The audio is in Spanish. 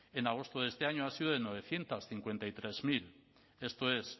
en agosto de este año han sido de novecientos cincuenta y tres mil esto es